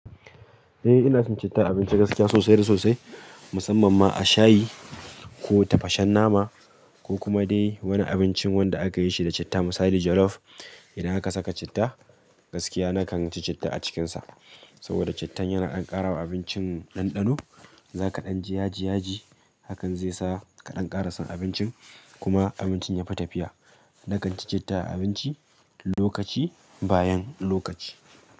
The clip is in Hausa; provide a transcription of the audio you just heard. Eh ina cin citta a abinci gaskiya sosai da sosai, musamman ma a shayi ko tafashen nama ko kuma dai wani abincin wanda aka yi shi da citta misali jollof. Idan aka saka citta gaskiya na kan ci citta a cikinsa. Saboda cittan yana dan karawa abincin dandano, zaka dan ji yaji yaji hakan zai sa ka dan kara son abincin kuma abincin yafi tafiya na kan ci citta a abinci lokaci bayan lokaci.